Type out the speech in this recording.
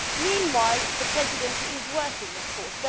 Meanwhile, the Presidency is working, of course.